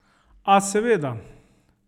A, seveda!